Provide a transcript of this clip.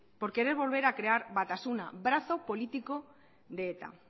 por querer volver a crear batasuna brazo político de eta